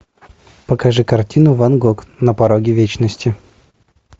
покажи картину ван гог на пороге вечности